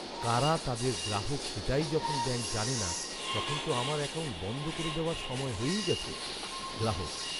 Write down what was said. কারা তাদের গ্রাহক সেটাই যখন ব্যাঙ্ক জানে না তখন তো আমার অ্যাকাউন্ট বন্ধ করে দেওয়ার সময় হয়েই গেছে। গ্রাহক